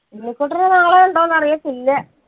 ശ്രീകുട്ടന് നാളെ ഇണ്ടോന്ന് അറിയത്തില്ല